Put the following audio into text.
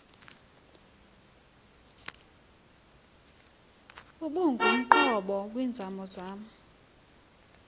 ubungumqobo kwimizamo yam